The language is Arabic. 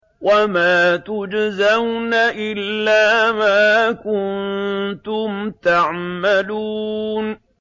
وَمَا تُجْزَوْنَ إِلَّا مَا كُنتُمْ تَعْمَلُونَ